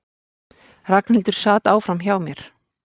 Ragnhildur sat áfram hjá mér.